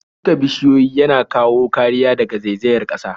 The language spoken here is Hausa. Shuka bishiyu yana kawo kariya daga zaizayar ƙasa.